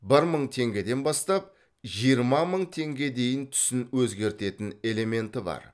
бір мың теңгеден бастап жиырма мың теңге дейін түсін өзгертетін элементі бар